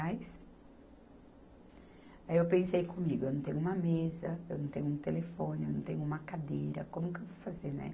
Aí eu pensei comigo, eu não tenho uma mesa, eu não tenho um telefone, eu não tenho uma cadeira, como que eu vou fazer, né?